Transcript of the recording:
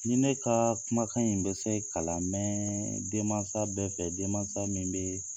Ni ne ka kumakan in bɛ se ka lamɛn den mansa bɛɛ fɛ, denmansa min bɛ